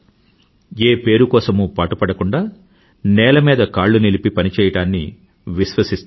ఏ పేరు కోసమూ పాటుపడకుండా నేల మీద కాళ్ళు నిలిపి పని చెయ్యడాన్ని విశ్వాసిస్తారు